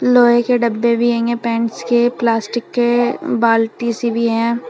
लोहे के डब्बे भी पेंट्स के प्लास्टिक के बाल्टी सी भी हैं।